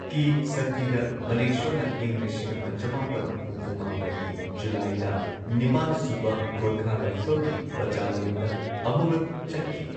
ꯀꯤ ꯁꯛꯇꯤꯗ, ꯃꯅꯦꯛꯁꯣꯅ ꯏꯪ ꯂꯤꯁꯤꯡ ꯑꯃ ꯆꯃꯥꯄꯟ ꯍꯨꯝꯐꯨ ꯃꯥꯄꯟꯒꯤ ꯖꯨꯂꯥꯏꯗ ꯅꯤꯄꯥꯟꯁꯨꯕ ꯒꯣꯔꯈꯥ ꯔꯥꯏꯐꯜꯒꯤ ꯕꯠꯇꯥꯂꯤꯌꯟꯗ ꯑꯃꯨꯔꯛ ꯆꯠꯈꯤ꯫